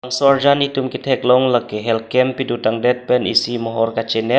so arjan netum ketheklong lake health camp pedo tang det pen isi mohor kachenap.